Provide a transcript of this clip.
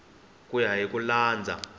ku ya hi ku landza